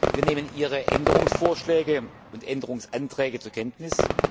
Wir nehmen Ihre Änderungsvorschläge und Änderungsanträge zur Kenntnis.